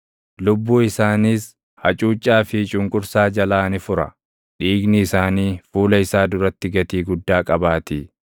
Lubbuu isaaniis hacuuccaa fi cunqursaa jalaa ni fura; dhiigni isaanii fuula isaa duratti gatii guddaa qabaatii.